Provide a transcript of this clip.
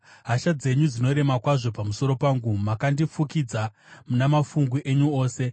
Hasha dzenyu dzinorema kwazvo pamusoro pangu, makandifukidza namafungu enyu ose. Sera